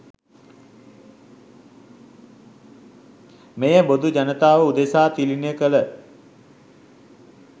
මෙය බොදු ජනතාව උදෙසා තිළිණ කළ